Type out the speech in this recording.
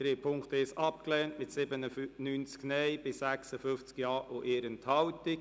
Sie haben den Punkt 1 abgelehnt mit 97 Nein- gegen 56 Ja-Stimmen bei 1 Enthaltung.